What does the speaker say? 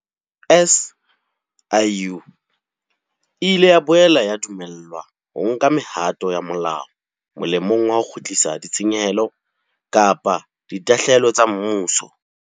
SIU e ile ya boela ya dumellwa ho nka mehato ya molao molemong wa ho kgutlisa ditshenyehelo kapa ditahlehelo tsa mmuso.